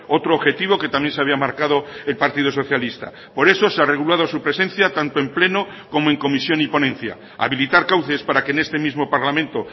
otro objetivo que también se había marcado el partido socialista por eso se ha regulado su presencia tanto en pleno como en comisión y ponencia habilitar cauces para que en este mismo parlamento